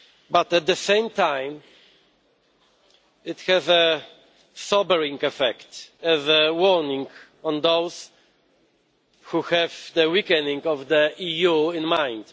But, at the same time, it has a sobering affect as a warning to those who have the weakening of the EU in mind.